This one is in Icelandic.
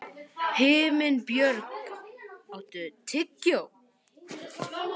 Himinbjörg, áttu tyggjó?